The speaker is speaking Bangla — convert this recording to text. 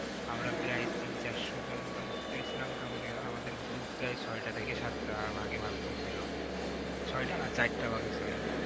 আমরা প্রায় তিন-চারশো জন মতো ভর্তি হয়েছিলাম, তেমন এর আমাদের group প্রায় ছয়টা থেকে সাতটা ভাগে ভাগ করছিল। ছয়টা না চাইরটা ভাগে sorry